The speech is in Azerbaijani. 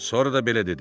Sonra da belə dedi.